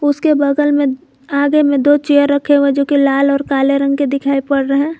उसके बगल में आगे में दो चेयर रखे हुए जो कि लाल और काले रंग के दिखाई पड़ रहे हैं।